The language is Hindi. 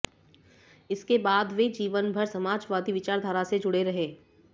इसके बाद वे जीवन भर समाजवादी विचारधारा से जुड़े रहे